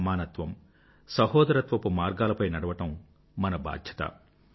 సమానత్వం సహోదరత్వపు మార్గాలపై నడవడం మన బాధ్యత